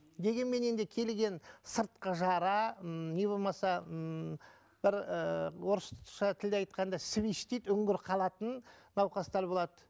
дегенмен енді келген сыртқы жара ммм не болмаса ммм бір ыыы орысша тілде айтқанда свиш дейді үңгір қалатын науқастар болады